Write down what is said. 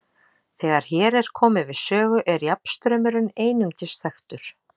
Þegar hér er komið við sögu er jafnstraumurinn einungis þekktur.